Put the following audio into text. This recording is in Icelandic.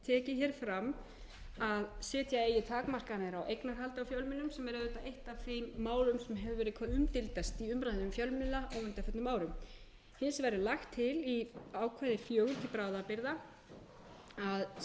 hér fram að setja eigi takmarkanir á eignarhald á fjölmiðlum sem er er auðvitað eitt af þeim málum sem hefur verið hvað umdeildast í umræðunni um fjölmiðla á undanförnum árum hins vegar er lagt til